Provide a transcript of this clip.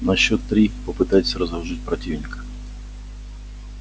на счёт три попытайтесь разоружить противника